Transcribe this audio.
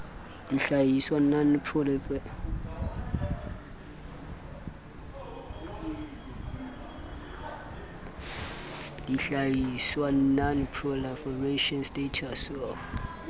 dihlahiswa non proliferation status of